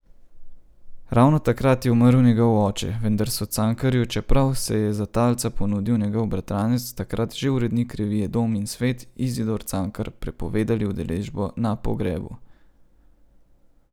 Ravno takrat je umrl njegov oče, vendar so Cankarju, čeprav se je za talca ponudil njegov bratranec, takrat že urednik revije Dom in svet, Izidor Cankar, prepovedali udeležbo na pogrebu.